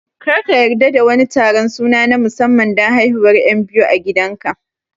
Kar ka yarda da wani taron suna na musamman don haihuwar 'yan biyu a gidanka